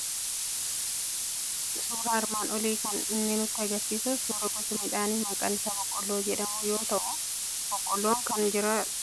Suuraan armaan olii kan inni nutti argisiisu suuraa gosa midhaanii maqaan isaa boqqolloo jedhamu yoo ta'u, boqqolloon kun jiidhaan isaa osoo hin gogiin fuudhamee affeelamee kan saayinii irratti qopheeffamee jiru dha.